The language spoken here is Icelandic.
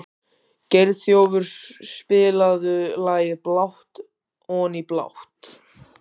Geirþjófur, spilaðu lagið „Blátt oní blátt“.